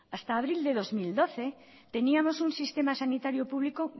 hasta abril de dos mil doce teníamos un sistema sanitario público